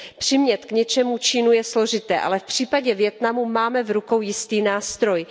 Přimět k něčemu Čínu je složité, ale v případě Vietnamu máme v rukou jistý nástroj.